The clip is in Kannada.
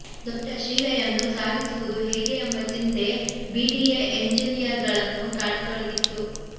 ದೊಡ್ಡ ಶೀಲೆಯನ್ನು ಸಾಗಿಸುವುದು ಹೇಗೆ ಎಂಬ ಚಿಂತೆ ಬಿಡಿಎ ಎಂಜಿನಿಯರ್ಗಳನ್ನು ಕಾಡತೊಡಗಿತ್ತು